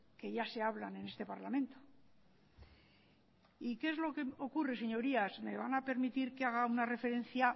que ya se hablan en este parlamento y qué es lo que ocurre señorías me van a permitir que haga una referencia